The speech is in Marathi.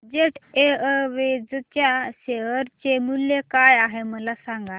जेट एअरवेज च्या शेअर चे मूल्य काय आहे मला सांगा